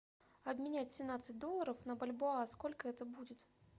обменять семнадцать долларов на бальбоа сколько это будет